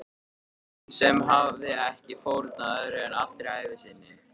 Hún sem hafði ekki fórnað öðru en allri ævi sinni.